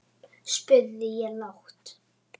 spurði ég lágt.